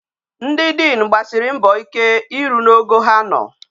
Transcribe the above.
Ndi diin gbasiri mbọ ike I ru n'ogo ha nọ.